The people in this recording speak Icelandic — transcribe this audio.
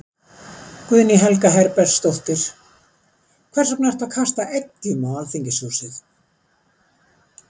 Guðný Helga Herbertsdóttir: Hvers vegna ertu að kasta eggjum á Alþingishúsið?